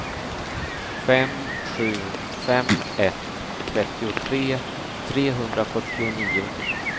fem sju fem ett trettiotre trehundrafyrtionio